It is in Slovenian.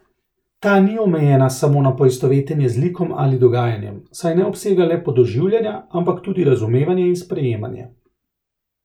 Ta ni omejena samo na poistovetenje z likom ali dogajanjem, saj ne obsega le podoživljanja, ampak tudi razumevanje in sprejemanje.